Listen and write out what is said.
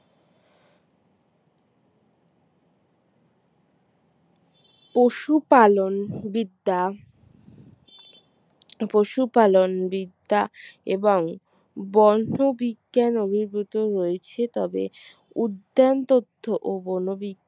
পশু পালন বিদ্যা পশুপালন বিদ্যা এবং বন্য বিজ্ঞান অভিভূত হয়েছে তবে উদ্যান তথ্য ও বন বি